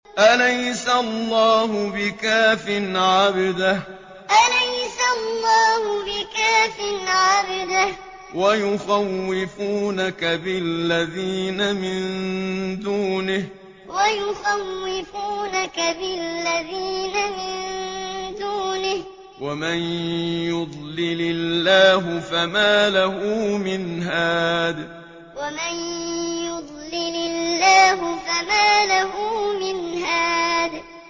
أَلَيْسَ اللَّهُ بِكَافٍ عَبْدَهُ ۖ وَيُخَوِّفُونَكَ بِالَّذِينَ مِن دُونِهِ ۚ وَمَن يُضْلِلِ اللَّهُ فَمَا لَهُ مِنْ هَادٍ أَلَيْسَ اللَّهُ بِكَافٍ عَبْدَهُ ۖ وَيُخَوِّفُونَكَ بِالَّذِينَ مِن دُونِهِ ۚ وَمَن يُضْلِلِ اللَّهُ فَمَا لَهُ مِنْ هَادٍ